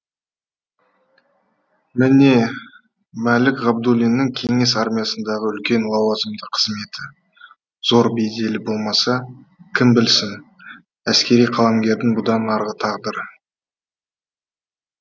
міне мәлік ғабдуллиннің кеңес армиясындағы үлкен лауазымды қызметі зор беделі болмаса кім білсін әскери қаламгердің бұдан арғы тағдыры